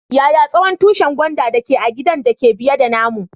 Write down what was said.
Yaya tsawon tushin gwandan da ke a'gidan da ke biye da namu?